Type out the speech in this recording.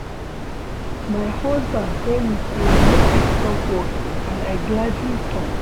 My husband tell me say make I stop work and I gladly stop